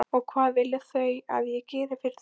Og hvað vilja þau að ég geri fyrir þau?